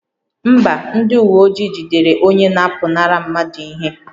Mba, ndị uwe ojii jidere onye na-apụnara mmadụ ihe